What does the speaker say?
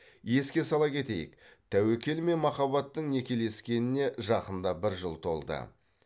еске сала кетейік тәуекел мен махаббаттың некелескеніне жақында бір жыл толды